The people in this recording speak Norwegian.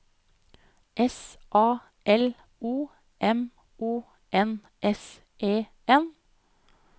S A L O M O N S E N